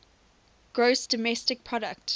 gross domestic product